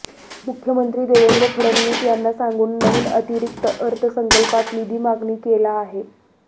मुख्यमंत्री देवेंद्र फडणवीस यांना सांगून नविन अतिरिक्त अर्थसंकल्पात निधी मागणी केला आहे